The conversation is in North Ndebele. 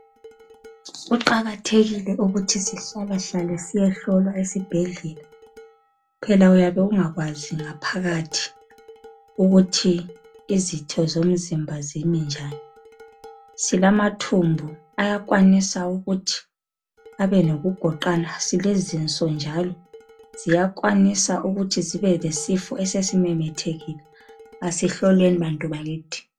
Kuqakathekile ukuthi sihlala hlale siyehlolwa esibhedlela, phela uyabe ungakwazi ngaphakathi ukuthi izitho zomzimba zimi njani. Silamathumbu ayakwanisa ukuthi abe lokugoqana, silezinso njalo ziyakwanisa ukuthi zibe lesifo esesimemethekile asihlolweni bantu bakithi.